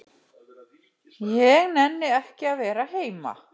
Ég nenni ekki að vera heima.